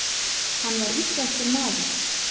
Hann var íslenskur maður.